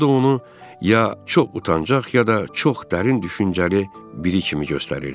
Bu da onu ya çox utancaq, ya da çox dərin düşüncəli biri kimi göstərirdi.